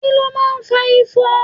Kí ló máa ń fa ifo?